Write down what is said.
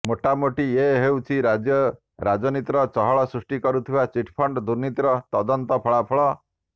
ମୋଟାମୋଟି ଏଇ ହେଉଛି ରାଜ୍ୟ ରାଜନୀତିରେ ଚହଳ ସୃଷ୍ଟି କରିଥିବା ଚିଟ୍ ଫଣ୍ଡ ଦୁର୍ନୀତିର ତଦନ୍ତ ଫଳାଫଳ